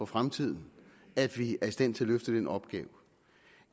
fremtiden at vi er i stand til at løfte den opgave